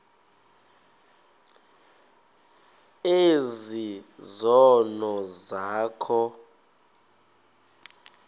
ezi zono zakho